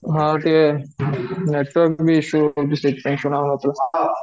ହଁ ଟିକେ network ଭି issue ରହୁଛି ତ ସେଠି ପାଇଁ ସୁନା ଯାଉ ନଥିଲା